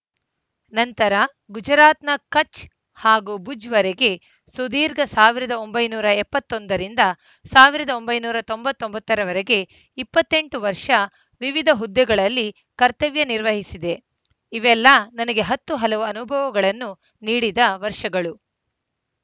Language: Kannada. ನಂತರ ಗುಜುರಾತ್‌ನ ಕಛ್‌ ಹಾಗೂ ಭುಜ್‌ವರೆಗೆ ಸುದೀರ್ಘ ಸಾವಿರದ ಒಂಬೈನೂರ ಎಪ್ಪತ್ತ್ ಒಂದ ರಿಂದ ಸಾವಿರದ ಒಂಬೈನೂರ ತೊಂಬತ್ತ್ ಒಂಬತ್ತ ರವರೆಗೆ ಇಪ್ಪತ್ತ್ ಎಂಟು ವರ್ಷ ವಿವಿಧ ಹುದ್ದೆಗಳಲ್ಲಿ ಕರ್ತವ್ಯ ನಿರ್ವಹಿಸಿದೆ ಇವೆಲ್ಲ ನನಗೆ ಹತ್ತು ಹಲವು ಅನುಭವಗಳನ್ನು ನೀಡಿದ ವರ್ಷಗಳು